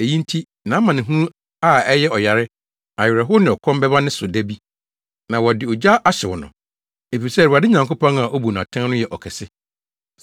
Eyi nti, nʼamanehunu a ɛyɛ ɔyare, awerɛhow ne ɔkɔm bɛba ne so da bi. Na wɔde ogya ahyew no, efisɛ Awurade Nyankopɔn a obu no atɛn no yɛ ɔkɛse.